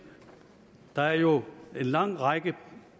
der er jo en lang række